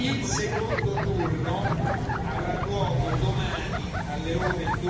Il secondo turno avrà luogo domani alle